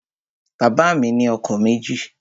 Bàbá mi ni ọkọ̀ méjì